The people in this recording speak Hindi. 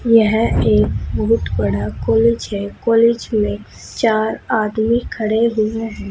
यह एक बहुत बड़ा कॉलेज है कॉलेज में चार आदमी खड़े हुए हैं।